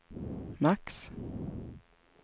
max